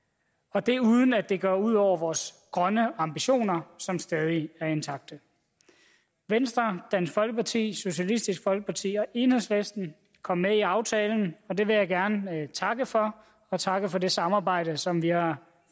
og det uden at det går ud over vores grønne ambitioner som stadig er intakte venstre dansk folkeparti socialistisk folkeparti og enhedslisten kom med i aftalen og det vil jeg gerne takke for jeg takker for det samarbejde som vi har